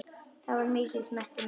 Hann var mikils metinn maður.